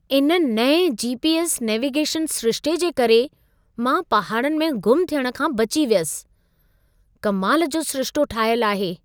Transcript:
इन नएं GPS. Navigation सिरिशिते जे करे मां पहाड़नि में ग़ुम थियण खां बची वियुसि। कमाल जो सिरिशितो ठाहियल आहे।